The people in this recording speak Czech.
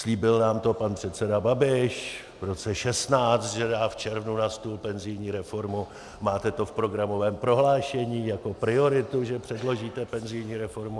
Slíbil nám to pan předseda Babiš v roce 2016, že dá v červnu na stůl penzijní reformu, máte to v programovém prohlášení jako prioritu, že předložíte penzijní reformu.